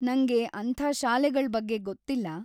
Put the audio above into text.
ನಂಗೆ ಅಂಥ ಶಾಲೆಗಳ್ ಬಗ್ಗೆ ಗೊತ್ತಿಲ್ಲ.